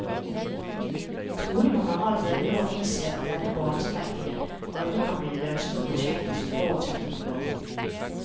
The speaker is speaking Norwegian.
Trolig må man allerede nå innse at denne banestrekningen aldri kan bli det lønnsomme prosjektet som forutsetningen var.